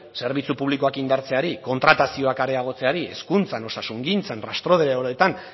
zerbitzu publikoak indartzeari kontratazioak areagotzeari hezkuntzan osasungintzan rastreadoreetan